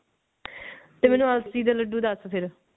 ਅਹ ਤੂੰ ਮੈਨੂੰ ਅਲਸੀ ਦੇ ਲੱਡੂ ਦੱਸ ਫੇਰ